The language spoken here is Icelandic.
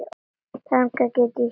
Þannig get ég hjálpað fólki.